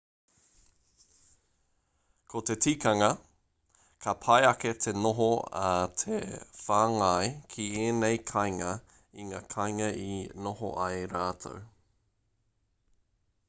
ko te tikanga ka pai ake te noho a te whāngai ki ēnei kāinga i ngā kainga i noho ai rātou